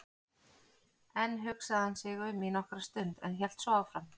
Enn hugsaði hann sig um í nokkra stund en hélt svo áfram